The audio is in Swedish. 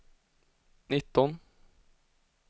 nitton